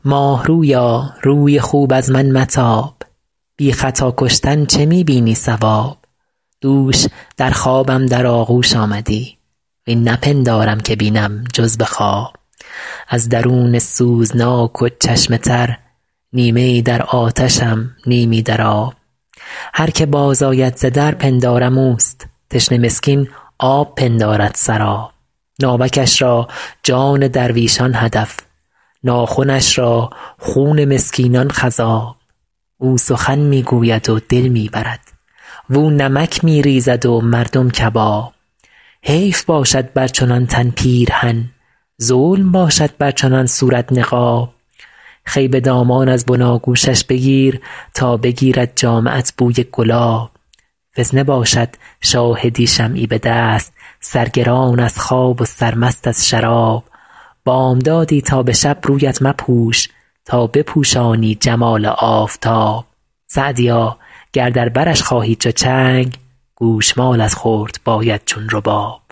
ماه رویا روی خوب از من متاب بی خطا کشتن چه می بینی صواب دوش در خوابم در آغوش آمدی وین نپندارم که بینم جز به خواب از درون سوزناک و چشم تر نیمه ای در آتشم نیمی در آب هر که باز آید ز در پندارم اوست تشنه مسکین آب پندارد سراب ناوکش را جان درویشان هدف ناخنش را خون مسکینان خضاب او سخن می گوید و دل می برد واو نمک می ریزد و مردم کباب حیف باشد بر چنان تن پیرهن ظلم باشد بر چنان صورت نقاب خوی به دامان از بناگوشش بگیر تا بگیرد جامه ات بوی گلاب فتنه باشد شاهدی شمعی به دست سرگران از خواب و سرمست از شراب بامدادی تا به شب رویت مپوش تا بپوشانی جمال آفتاب سعدیا گر در برش خواهی چو چنگ گوش مالت خورد باید چون رباب